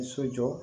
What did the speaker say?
Ni so jɔ